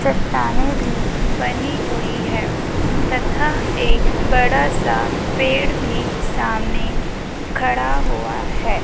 चट्टाने भी बनी हुई है तथा एक बड़ा सा पेड़ भी सामने खड़ा हुआ है।